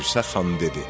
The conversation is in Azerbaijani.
Dirsəxan dedi: